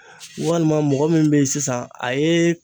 Walima mɔgɔ min bɛ yen sisan a ye